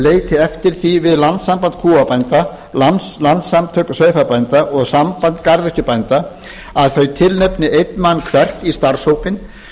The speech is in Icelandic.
leiti eftir því við landssamband kúabænda landssamtök sauðfjárbænda og samband garðyrkjubænda að þau tilnefni einn mann hvert í starfshópinn